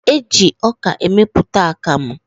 Eji ọka emepụta akamụ.